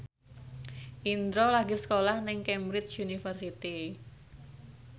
Indro lagi sekolah nang Cambridge University